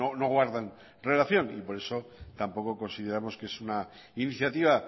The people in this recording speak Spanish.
no guardan relación y por eso tampoco consideramos que es una iniciativa